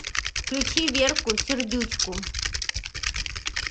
включи верку сердючку